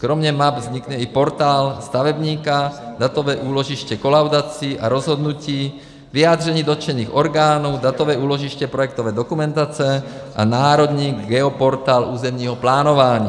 Kromě map vznikne i Portál stavebníka, Datové úložiště kolaudací, rozhodnutí a vyjádření dotčených orgánů, Datové úložiště projektové dokumentace a Národní geoportál územního plánování.